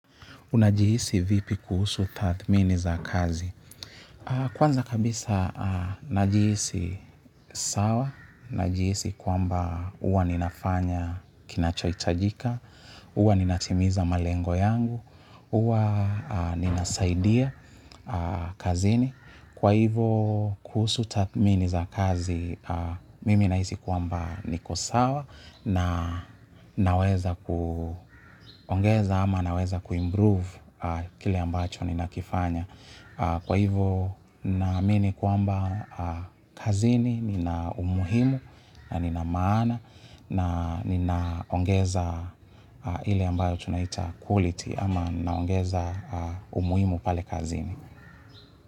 Unajihisi vipi kuhusu tatmini za kazi? Kwanza kabisa najihisi sawa, najihisi kwamba huwa ninafanya kinachoitajika, huwa ninatimiza malengo yangu, huwa ninasaidia kazini. Kwa hivo kuhusu tathmini za kazi nahisi kwamba niko sawa kwa hivuobnaweza. Kwa hivo na mini kuamba kazini, nina umuhimu na nina maana na ninaongeza hili ambayo tunaita quality ama naongeza umuhimu pale kazini.